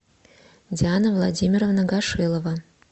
диана владимировна гашилова